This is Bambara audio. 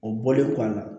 O bɔlen kɔ a la